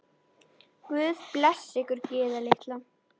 Guð blessi ykkur, Gyða litla.